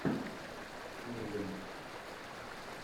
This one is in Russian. ургант